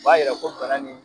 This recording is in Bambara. B'a yira ko nana ni